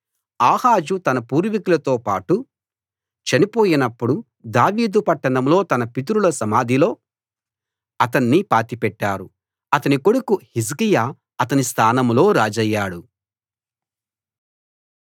ఆహాజు తన పూర్వీకులతోబాటు చనిపోయినప్పుడు దావీదు పట్టణంలో తన పితరుల సమాధిలో అతన్ని పాతిపెట్టారు అతని కొడుకు హిజ్కియా అతని స్థానంలో రాజయ్యాడు